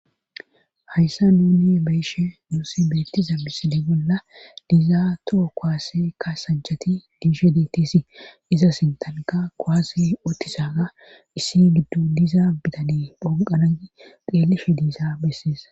hayssa nuuni bayishe nuussi bettiza misile bolla diizaatoo koaase ka sanchati diishe ditisi iza sintanka koase otisaaa issi giddu diiza bitaneey phonqanai xelishe diiza besseesa